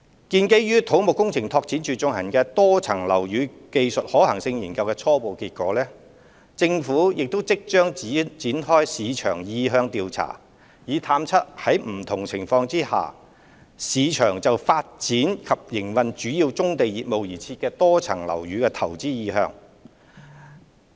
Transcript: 基於土木工程拓展署進行以多層樓宇容納棕地作業的技術可行性研究的初步結果，政府即將展開市場意向調查，探測在不同情況下，市場就發展及營運為主要棕地業務而設的多層樓宇的投資意向。